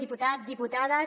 diputats diputades